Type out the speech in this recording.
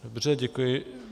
Dobře, děkuji.